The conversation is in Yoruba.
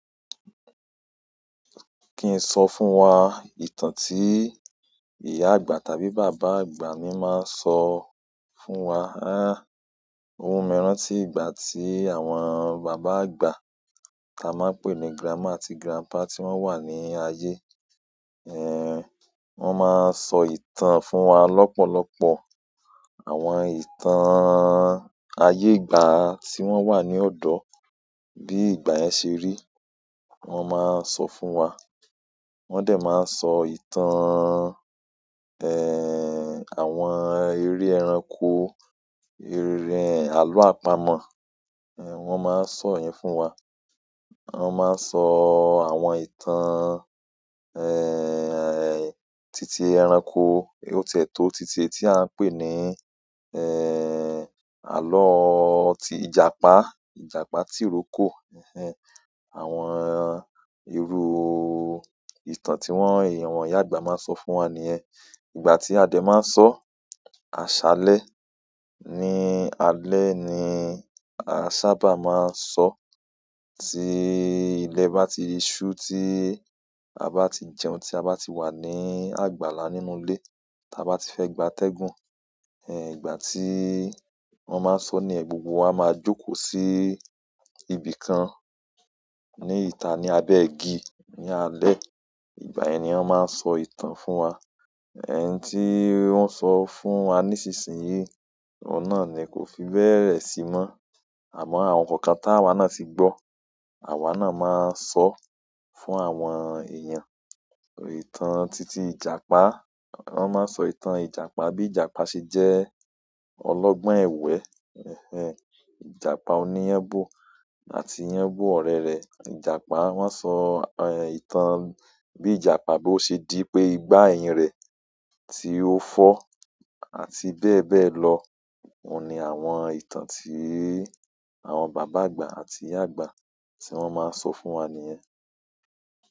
Kí n sọ fún wa ìtàn tí ìyá àgbà tàbí bàbá àgbà mi máa ń sọ fún wa. Há! O mu mii rántí ìgbà tí àwọn bàbá àgbà táa máa ń pè ní grandma àti grandpa tí wọ́n wà ní ayé, ẹ́, wọ́n máa ń sọ ìtàn fún wa lọ́pọ̀lọpọ̀. Àwọn ìtàn ayé ìgbà tí wọ́n wà ní ọ̀dọ́, bí ìgbà yẹn ṣe rí, wọ́n máa ń sọ fún wa. Wọ́n dẹ̀ máa ń sọ ìtàn, ẹ́, àwọn eré ẹranko, eré àlọ́ àpamọ̀, ẹ, wọ́n máa ń sọ yen fún wa. Wọ́n máa ń sọ àwọn ìtàn, ẹ́ẹ́, titi ẹranko, ó tiẹ́tọ́ títí tí à ń pè ní, ẹ́, àlọ́ tí ìjàpá, ìjàpá tí ń roko. Ẹ̀hen. Àwọn irú ìtàn tí wọ́n, ìyàwó ìyá àgbà máa ń sọ fún wa nìyẹn. Ìgbà tí adé máa ń sọ, "àṣálẹ́ ni alẹ́" ni a sábà máa ń sọ. Tí ilẹ̀ bá ti ṣu, tí a bá ti jẹun, tí a bá ti wà ní àgbàlá nínú ilé, tí a bá ti fẹ́ gbà tẹ́gùn, ẹ́, ìgbà tí wọ́n máa ń sọ nìyẹn gbogbo. A ma jókòó si ibi kàn ni ita ni abe igi ní alẹ́ ìgbà ẹniyàn máa ń sọ ìtàn fún wa. Ẹ̀hen tí wọ́n sọ fún wa nísinsìnyí, ọ̀un náà ni kò fi bẹ́ẹ̀ sí mọ́. Àmọ́ àwọn kankan táa wa náà ti gbọ́, àwa náà máa sọ fún àwọn èèyàn. Ìtàn titi ìjàpá. Wọ́n máa ń sọ ìtàn ìjàpá bí ìjàpá ṣe jẹ́ ọlọ́gbọ́n ẹ̀wẹ́. Ẹ̀hen. Ìjàpá oníyánbo àti yánbo ọ̀rẹ́ rẹ̀. Ìjàpá, wọ́n sọ, ẹ́, ìtàn bí ìjàpá bí ó ṣe dí pé ìgbà ẹ̀yìn rẹ̀ tí ó fọ́ àti bẹ́ẹ̀ bẹ́ẹ̀ lọ. Óun ni àwọn ìtàn tí àwọn bàbá àgbà àti ìyá àgbà tí wọ́n máa ń sọ fún wa nìyẹn.